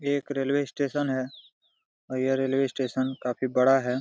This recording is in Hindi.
ये एक रेलवे स्टेशन है और यह रेलवे स्टेशन काफी बड़ा है।